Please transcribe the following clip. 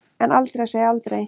En aldrei að segja aldrei.